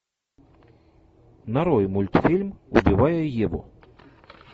нарой мультфильм убивая еву